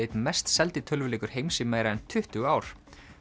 einn mest seldi tölvuleikur heims í meira en tuttugu ár